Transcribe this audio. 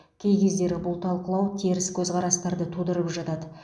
кей кездері бұл талқылау теріс көзқарастарды тудырып жатады